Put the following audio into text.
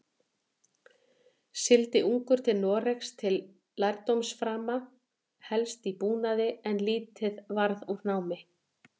Sigldi ungur til Noregs til lærdómsframa, helst í búnaði, en lítið varð úr námi.